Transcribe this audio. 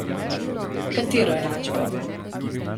Katero enačbo?